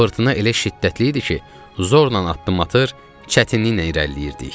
Fırtına elə şiddətli idi ki, zorla addım atır, çətinliklə irəliləyirdik.